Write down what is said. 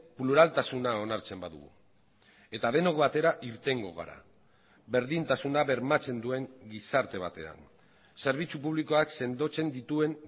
pluraltasuna onartzen badugu eta denok batera irtengo gara berdintasuna bermatzen duen gizarte batean zerbitzu publikoak sendotzen dituen